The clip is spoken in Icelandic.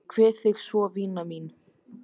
Ég kveð þig svo vina mín.